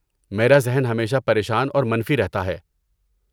میرا ذہن ہمیشہ پریشان اور منفی رہتا ہے۔